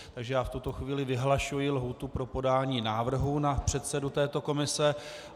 Takže já v tuto chvíli vyhlašuji lhůtu pro podání návrhu na předsedu této komise.